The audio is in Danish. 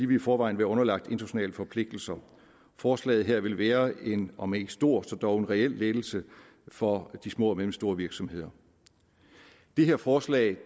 vil i forvejen være underlagt internationale forpligtelser forslaget her vil være en om ikke stor så dog reel lettelse for de små og mellemstore virksomheder det her forslag